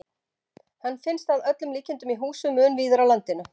Hann finnst að öllum líkindum í húsum mun víðar á landinu.